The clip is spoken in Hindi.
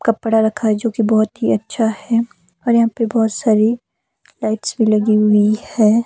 कपड़ा रखा है जो कि बहुत ही अच्छा है और यहां पे बहुत सारी लाइट्स भी लगी हुई है।